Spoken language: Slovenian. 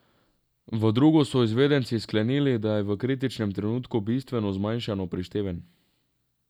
V drugo so izvedenci sklenili, da je bil v kritičnem trenutku bistveno zmanjšano prišteven.